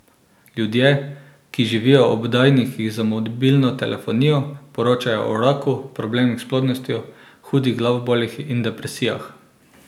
Ljudje, ki živijo ob oddajnikih za mobilno telefonijo, poročajo o raku, problemih s plodnostjo, hudih glavobolih in depresijah.